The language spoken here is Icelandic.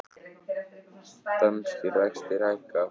Danskir vextir hækka